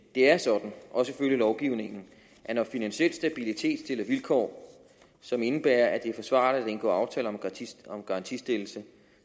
er sådan også ifølge lovgivningen at når finansiel stabilitet stiller vilkår som indebærer at det er forsvarligt at indgå aftale om garantistillelse